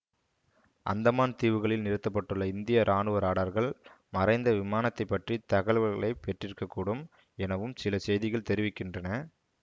அந்தமான் தீவுகளில் நிறுத்த பட்டுள்ள இந்திய இராணுவ ராடார்கள் மறைந்த விமானத்தைப் பற்றி தகல்வல்களைப் பெற்றிருக்க கூடும் எனவும் சில செய்திகள் தெரிவிக்கின்றன